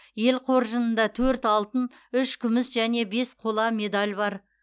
ел қоржынында төрт алтын үш күміс және бес қола медаль бар